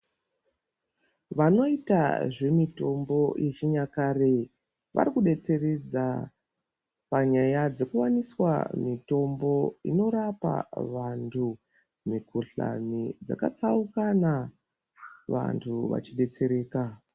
Vanoita zve mitombo ye chinyakare vari ku detseredza panyaya dzeku waniswa mitombo inorapa vantu mu kuhlani dzaka tsaukana vantu vachi detsereka.